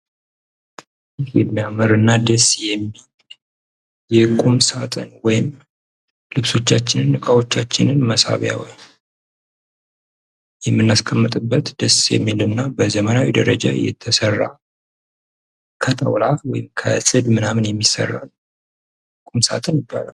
ይህ የሚያምር እና ደስ የሚል የቁም ሳጥን ወይም ልብሶቻችን እና እቃወቻችን የምናስቀጥበት እና ደስ የሚል እና በዘመናዊ የተሰራ ከጣውላ ወይም ከጽድ ምናምን የሚሰራ ቁም ሳጥን ይባላል።